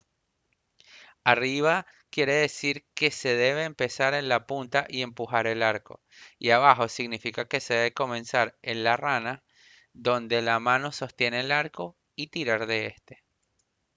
arriba quiere decir que se debe empezar en la punta y empujar el arco y abajo significa que se debe comenzar en la rana donde la mano sostiene el arco y tirar de este